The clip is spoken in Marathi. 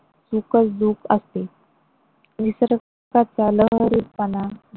सुख दुखं असते निसर्गाचा लहरीपणा.